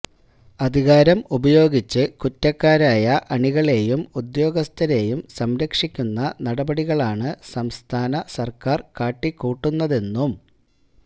അധികാരം ഉപയോഗിച്ച് കുറ്റക്കാരയ അണികളെയും ഉദ്യോഗസ്ഥരെയും സംരക്ഷിക്കുന്ന നടപടികളാണ് സംസ്ഥാന സർക്കാർ കാട്ടിക്കൂട്ടുന്നതെന്നും